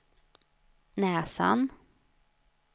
näsan